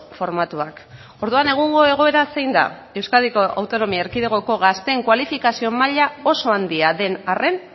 formatuak orduan egungo egoera zein da euskadiko autonomi erkidegoko gazteen kualifikazio maila oso handia den arren